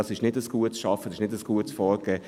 Das ist kein gutes Arbeiten, kein gutes Vorgehen.